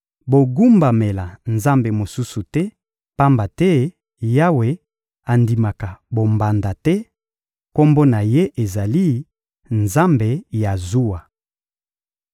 Bogumbamela nzambe mosusu te, pamba te Yawe andimaka bombanda te; Kombo na Ye ezali Nzambe ya zuwa.